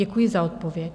Děkuji za odpověď.